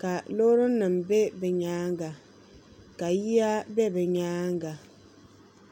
ka loori nim bɛ bi nyanga ka yiya bɛ bi nyaanga